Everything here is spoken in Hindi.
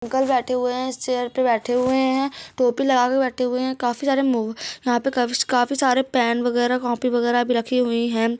अंकल बैठे हुए है इस चेयर पे बैठे हुए है टोपी लगा के बैठे हुए हैकाफी सारे म काफी सारे पेन वगैरह कॉपी वगैरह भी रखी हुई है।